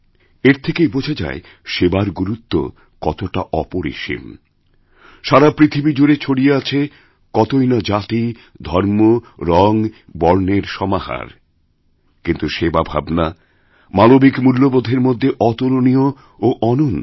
এর থেকেই বোঝা যায় সেবার গুরুত্ব কতটা অপরিসীম সারাপৃথিবী জুড়ে ছড়িয়ে আছে কতই না জাতি ধর্ম রঙ বর্ণের সমাহার কিন্তু সেবা ভাবনামানবিক মূল্যগুলির মধ্যে অতুলনীয় ও অনন্য